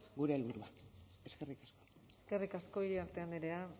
gure helburua eskerrik asko eskerrik asko iriarte andrea